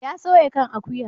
Ya soya kan akuya.